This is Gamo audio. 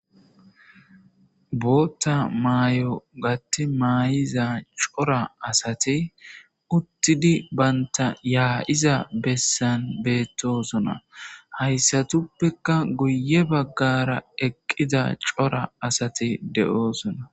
Bootta maayo gatti maayiza cora asati uttidi bantta yaayiza bessan beettoosona. Hayssatuppekka guye baggara eqqida cora asati de7oosona.